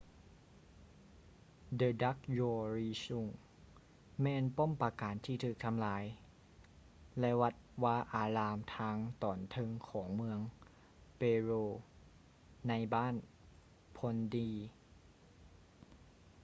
the drukgyal dzong ແມ່ນປ້ອມປາການທີ່ຖືກທໍາລາຍ ແລະ ວັດວາອາຣາມທາງຕອນເທິງຂອງເມືອງ paro ໃນບ້ານ phondey